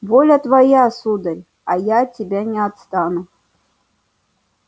воля твоя сударь а я от тебя не отстану